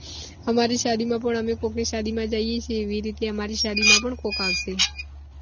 અમારી શાદી માં પણ અમે કોક ની શાદી માં જઈએ છીએ એવી રીતે અમારી શાદી માં પણ કોક આવશે